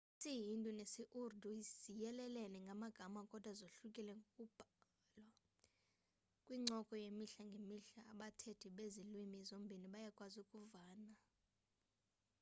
isii-hindi nesi-urdu ziyelelene ngamagama kodwa zohlukile ngokubhalwa kwincoko yemihla ngemihla abathethi bezi lwimi zombini bayakwazi ukuvana